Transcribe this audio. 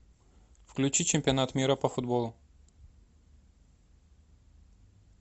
включи чемпионат мира по футболу